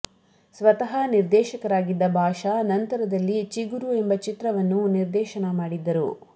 ಸ್ವತಃ ನಿರ್ದೇಶಕರಾಗಿದ್ದ ಬಾಷಾ ನಂತರದಲ್ಲಿ ಚಿಗುರು ಎಂಬ ಚಿತ್ರವನ್ನೂ ನಿರ್ದೇಶನ ಮಾಡಿದ್ದರು